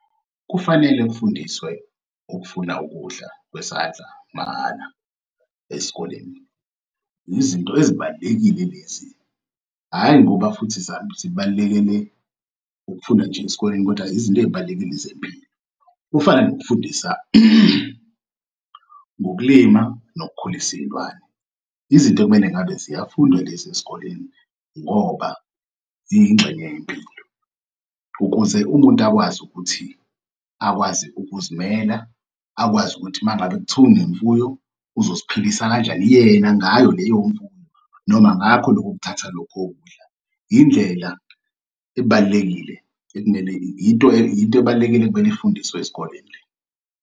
Kufanele kufundiswe ukufuna ukudla kwesandla mahhala esikoleni. Izinto ezibalulekile lezi, hhayi ngoba futhi zibalekele ukufunda nje esikoleni kodwa izinto ey'balulekile zempilo. Kufana nokufundisa ngokulima nokukhulisa iy'lwane. Izinto ekumele ngabe ziyafunda lezi esikoleni ngoba iyingxenye yempilo ukuze umuntu akwazi ukuthi akwazi ukuzimela, akwazi ukuthi uma ngabe kuthiwa unemfuyo uzoziphilisa kanjani yena ngayo leyo mfuyo noma ngakho lokho kuthatha lokho kudla. Into ebalulekile ebalulekile ekumele ifundiswe ezikoleni le.